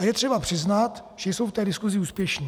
A je třeba přiznat, že jsou v té diskusi úspěšní.